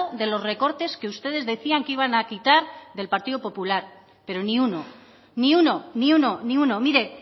de los recortes que ustedes decían que iban a quitar del partido popular pero ni uno ni uno ni uno ni uno mire